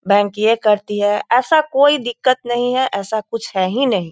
Bank ये करती है ऐसा कोई दिक्कत नही है ऐसा कुछ है हीं नहीं।